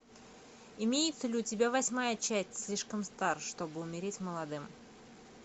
имеется ли у тебя восьмая часть слишком стар чтобы умереть молодым